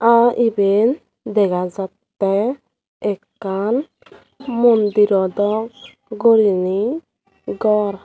ah eben degajatte ekkan mondiro dok goriney gor.